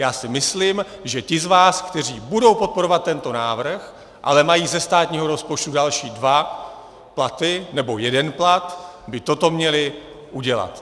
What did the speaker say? Já si myslím, že ti z vás, kteří budou podporovat tento návrh, ale mají ze státního rozpočtu další dva platy nebo jeden plat, by toto měli udělat.